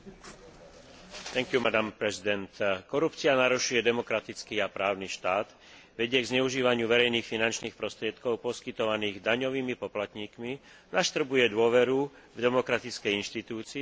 Korupcia narušuje demokratický a právny štát, vedie k zneužívaniu verejných finančných prostriedkov poskytovaných daňovými poplatníkmi, naštrbuje dôveru demokratickej inštitúcie a destabilizuje správne fungovanie trhu.